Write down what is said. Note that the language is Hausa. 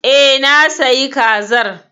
E, na sayi Kazar.